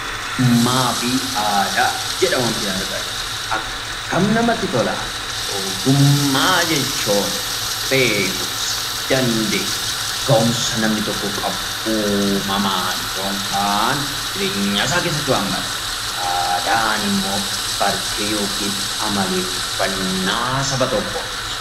Ogummaa fi aadaa jedha waantin argaa jiru. Akkam namatti tola! Ogummaa jechuun beekumsa, dandeettii , gahumsa namni tokko qabu uumamaan yookaan jireenya isaa keessatti kan barate. Aadaan immoo bartee yookiin amaleeffannaa saba tokkooti.